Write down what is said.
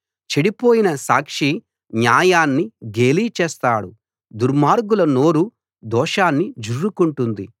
చెడిపోయిన సాక్షి న్యాయాన్ని గేలి చేస్తాడు దుర్మార్గుల నోరు దోషాన్ని జుర్రుకుంటుంది